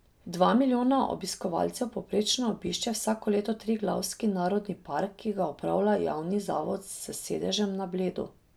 Dva milijona obiskovalcev povprečno obišče vsako leto Triglavski narodni park, ki ga upravlja javni zavod s sedežem na Bledu.